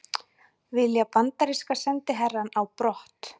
Vilja bandaríska sendiherrann á brott